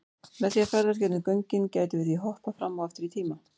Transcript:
Með því að ferðast gegnum göngin gætum við því hoppað fram og aftur í tíma.